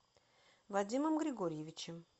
вадимом григорьевичем